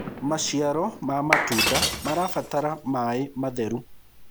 maciaro ma matunda marabatara maĩ matheru